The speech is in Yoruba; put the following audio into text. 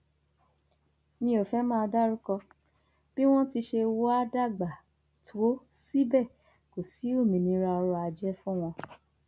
mi ò fẹẹ máa dárúkọ bí wọn ti ṣe wàá dàgbà tó síbẹ kò sí òmìnira ọrọ ajé fún wọn